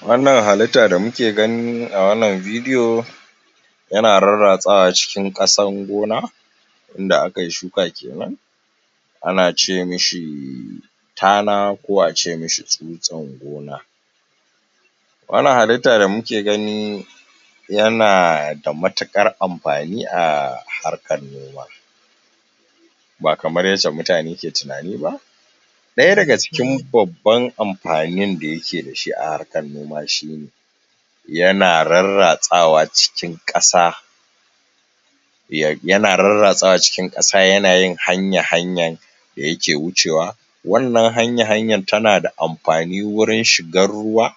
Wannan halitta da muke gani a wannan bidiyo, yana rarratsawa cikin ƙasar gona. in da aka yi shuka kenan, ana ce ma shi, tana ko a ce ma shi tsutsar gona. Wannan halitta da muke gani, yana da matuƙar amfani a harkar noma. Ba kamar yadda mutane ke tunani ba. Ɗaya daga cikin babban amfanin da yake da shi a harkar noma shi ne: yana rarratsawa cikin ƙasa, ya na rarratsawa cikin ƙasa, yana yin hanya-hanyan da yake wucewa. Wannan hanya-hanyar tana da amfani wajen shigar ruwa,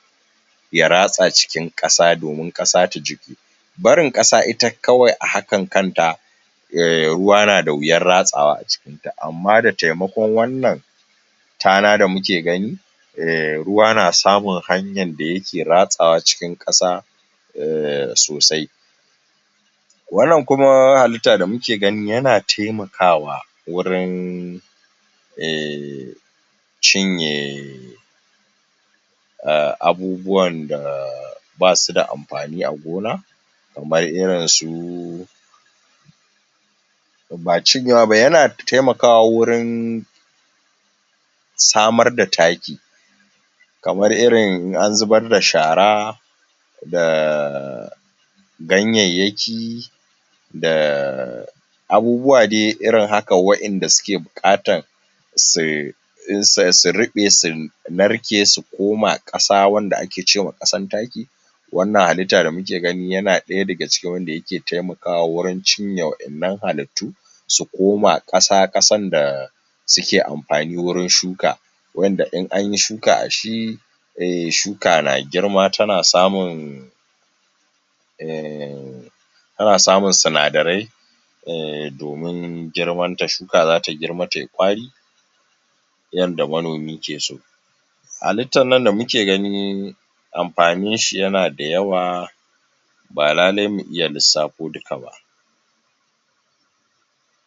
ya ratsa cikin ƙasa domin ƙasa ta jiƙu. Barin ƙasa ita kawai a hakan kanta, ruwa na da wuyar ratsawa a ciki. To amma da taimakon wannan, tana da muke gani, ruwa na samun hanyar, da yake ratsawa cikin ƙasa, sosai. Wannan kuma halitta da muke gani yana taimakawa wurin, um cin ye abubuwan da ba su da amfani a gona. kamar irin su, ba cinyewa ba, yana taimakawa wurin, samar da taki kamar irin in an zubar da shara, da ganyayyaki, da abubuwa dai irin haka wanda suke buƙatar um su ruɓe su narke su koma ƙasa wanda ake ce ma ƙasan taki. Wannan halitta da muke gani yana ɗaya daga cikin wanda yake taimakawa wajen cinye wannan halittu su koma ƙasa, ƙasar da suke amfani wajen shuka. Waɗanda in an yi shuka a shi shuka na girma tana samun, um tana samun sindarai, um domin girmanta shuka za ta girma ta yi ƙwari, yadda manomi ke so. Halittar nan da muke gani, amfaninshi yana da yawa, ba lallai mu iya lissafo duka ba.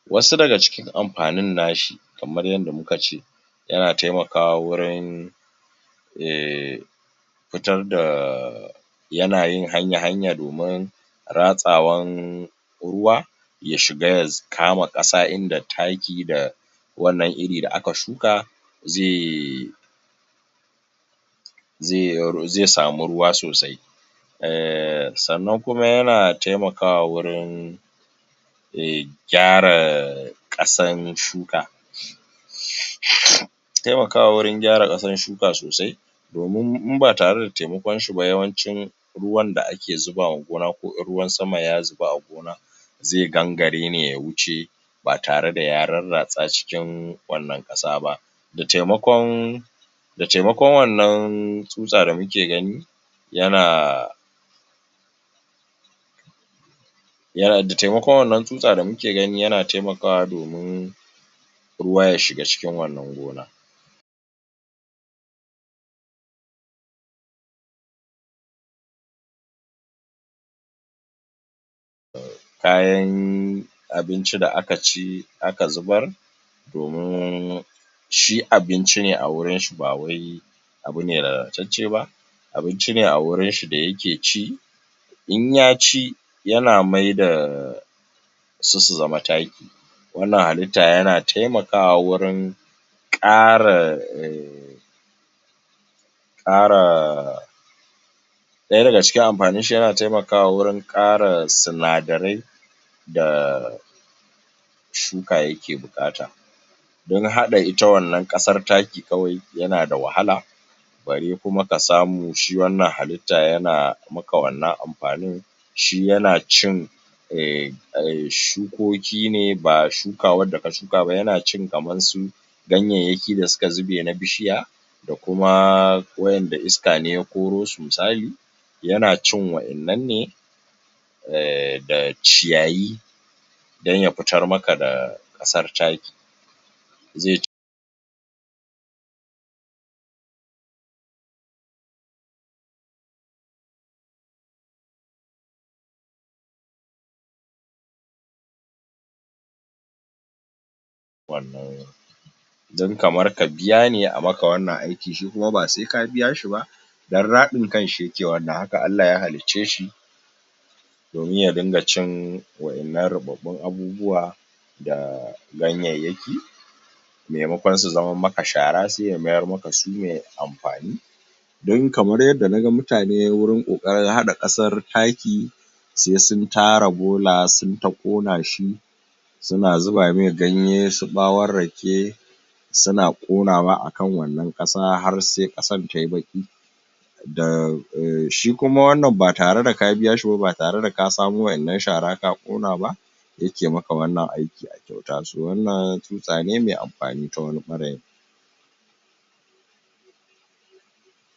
Wasu daga cikin amfanin na shi, kamar yadda muka ce, yana taimakawa wurin, um fitar da yana yin hanya-hanya domin ratsawan ruwa. Ya shiga ya kama ƙasa wurin da taki da wannan iri da aka shuka zai zai samu ruwa sosai. um Sannan kuma yana taimakawa wurin um gyara ƙasar shuka. Taimakawa wajen gyara ƙasar shuka sosai domin idan ba tare da taimakonshi ba yawancin ruwan da ake zuba wa gona, ko in ruwan sama ya shiga a gona, zai gangare ne ya wuce ba tare da ya rarratsa cikin wannan ƙasa ba Da taimakon da taimakon wannan tsutsa da muke gani, yana da taimakon wannan tsutsa da muke gani, yana taimakawa domin ruwa ya shiga cikin wannan gona. Kayan abinci da aka ci aka zubar domin shi abinci ne a wurin shi ba wai abu ne lalatacce ba Abinci ne a wurin shi da yake ci In ya ci yana maida su su zama taki. ƙara Ɗaya daga cikin amfanin shi, yana taimakawa wajen ƙara sinadarai da shuka yake buƙata. Don haɗa ita wannan ƙasar taki kawai yana da wahala, bare kuma ka samu shi wannan halitta yana a a maka wannan amfanin shi yana cin um shukoki ne ba shuka wadda ka shuka ba, yana cin kamar su ganyayyaki da suka zube na bishiya, da kuma waɗanda iska ne ya koro su misali, yana cin waɗannan ne da ciyayi, don ya fitar maka da ƙasar yaki. wannan Dan kamar ka biya ne a maka wannan aikin, shi kuma ba sai ka biya shi ba. Don raɗin kanshi ne yake wannan haka Allah ya halicce shi domin ya dinda cin waɗannan ruɓaɓɓun abubuwa da ganyayyaki, maimakon su zamo maka shara, sai ya mayar maka su mai amfani. Dan kamar yadda naga mutane wurin ƙoƙarin haɗa ƙasar taki sai sun tara bola, sun yi ta ƙona shi suna zuba mai ganye, su ɓawon rake suna ƙonawa a kan wannan ƙasa har sai ƙasar ta yi baƙi. Shi kuma wannan ba tare da ka biya shi ba. Ba tare da ka samo waɗannan shara ka ƙona ba yake maka wannan aiki a kyauta. To wannan tsutsa ne mai amfani ta wani ɓarayin.